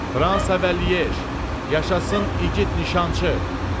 Fransa və Lyej, yaşasın igid nişançı!